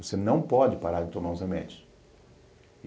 Você não pode parar de tomar os remédios.